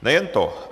Nejen to.